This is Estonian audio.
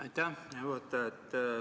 Aitäh, hea juhataja!